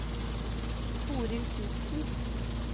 Toril Knudsen